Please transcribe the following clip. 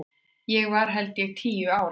Ég var held ég tíu ára.